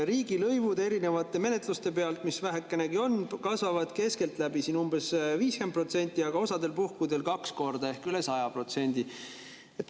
Riigilõivud erinevate menetluste pealt, mis vähekegi on, kasvavad keskeltläbi 50%, aga osal puhkudel kaks korda ehk üle 100%.